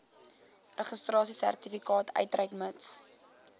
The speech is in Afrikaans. registrasiesertifikaat uitreik mits